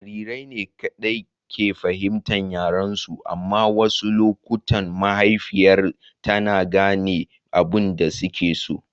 Jarirai ne kaɗai ke fahimtar yaren su. Amma a wasu lokuta mahaifiyar tana gane abin da suke so.